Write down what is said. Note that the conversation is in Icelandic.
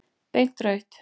Beint rautt.